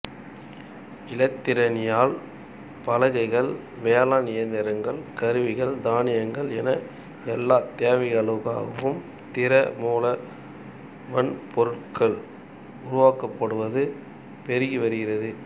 இலத்திரனியல் பலககைகள் வேளாண் இயந்திரங்கள் கருவிகள் தானியங்கிகள் என எல்லாத் தேவைகளுக்காகவும் திற மூல வன்பொருட்கள் உருவாக்கப்படுவது பெருகி வருகிறது